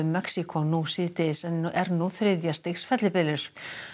Mexíkó nú síðdegis en er nú þriðja stigs fellibylur